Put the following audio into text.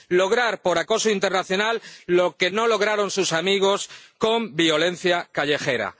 lograr por acoso internacional lo que no lograron sus amigos con violencia callejera.